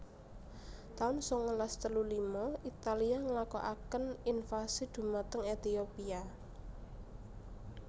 taun sangalas telu lima Italia nglakokaken invasi dhumateng Ethiopia